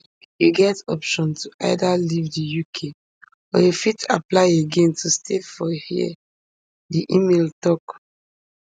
you get option to either leave di uk or you fit apply again to stay for here di email tok